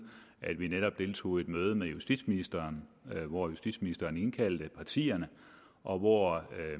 at vi netop deltog i et møde med justitsministeren hvor justitsministeren indkaldte partierne og hvor